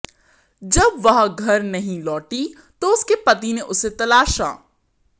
जब वह घर नहीं लौटी तो उसके पति ने उसे तलाशा